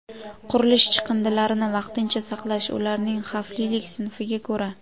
Qurilish chiqindilarini vaqtincha saqlash ularning xavflilik sinfiga ko‘ra:.